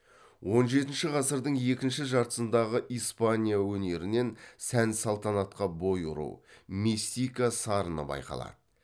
он жетінші ғасырдың екінші жартысындағы испания өнерінен сән салтанатқа бой ұру мистика сарыны байқалады